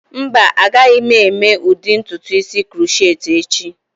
Mba, agaghị m eme ụdị ntutu isi crochet echi.